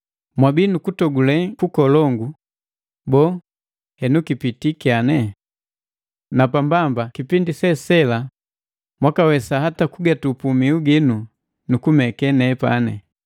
Mwabii nukutogule kukolongu, boo, henu kipitii kyane? Napa mbamba, kipindi se sela mwakawesa hata kugatupu mihu ginu nu kumeke nepani.